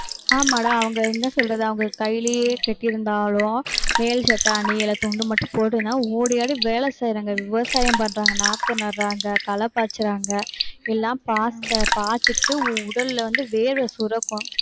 ஆமாடா, அவங்க என்ன சொல்றது அவங்க கைலியே கட்டிருந்தாலும் மேல் சட்டை அணியிலை, துண்டு மட்டும் ஓடி ஆடி வேலை செய்யறாங்க, விவசாயம் பண்றாங்க, நாத்து நடுறாங்க, களை பாய்ச்சறாங்க. எல்லாம் பாய்ச்சிட்டு உடல்ல வந்து வேர்வை சுரக்கும்.